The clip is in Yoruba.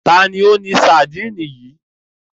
Ta ni ó ní sadínì yìí?